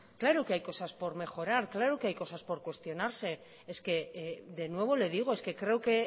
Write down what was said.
claro que hay cosas por mejorar claro que has cosas por cuestionarse es que de nuevo le digo es que creo que